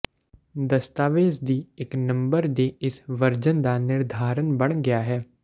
ਦਸਤਾਵੇਜ਼ ਦੀ ਇੱਕ ਨੰਬਰ ਦੀ ਇਸ ਵਰਜਨ ਦਾ ਨਿਰਧਾਰਨ ਬਣ ਗਿਆ ਹੈ